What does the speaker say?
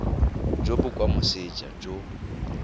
jo bo kwa moseja jo